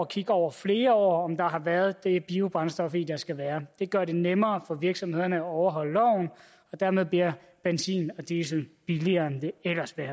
kigge over flere år om der har været det biobrændstof i der skal være det gør det nemmere for virksomhederne at overholde loven og dermed bliver benzin og diesel billigere end det ellers ville